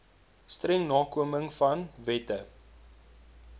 streng nakomingvan wette